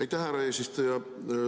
Aitäh, härra eesistuja!